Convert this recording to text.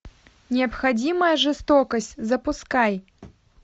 необходимая жестокость запускай